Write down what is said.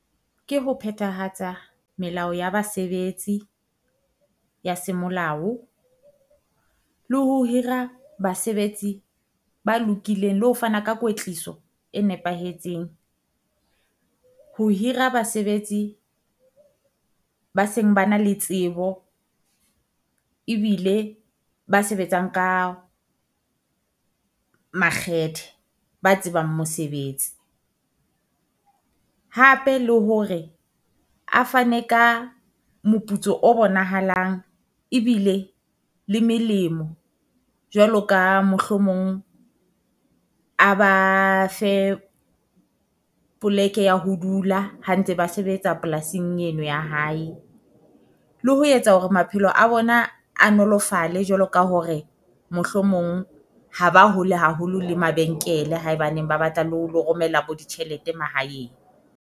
Ke ho phethahatsa melao ya basebetsi ya semolao le ho hira basebetsi ba lokileng le ho fana ka kwetliso e nepahetseng, ho hira basebetsi ba seng ba na le tsebo. Ebile ba sebetsang ka makgethe, ba tsebang mosebetsi hape le hore a fane ka moputso o bonahalang ebile le melemo, jwalo ka mohlomong a ba fe poleke ya ho dula ha ntse ba sebetsa polasing eno ya hae. Le ho etsa hore maphelo a bona a nolofalle jwalo ka hore mohlomong ha ba hole haholo le mabenkele haebaneng ba batla le ho lo romela bo ditjhelete mahaeng.